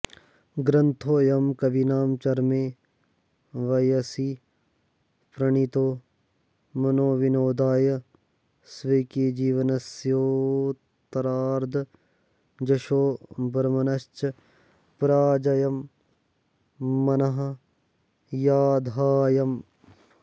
ग्रन्थोऽयं कविना चरमे वयसि प्रणीतो मनोविनोदाय स्वकीयजीवनस्योतरार्द्ध यशोवर्मणश्च पराजयं मनस्याधायं